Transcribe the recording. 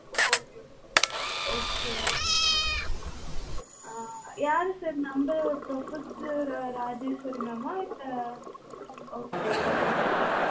okay okay okay okay ஆஹ் யாரு sir நம்ம professor ராஜேஸ்வரி mam ஆ இல்ல okay sir okay